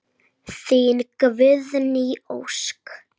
Þín Guðný Ósk.